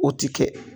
O ti kɛ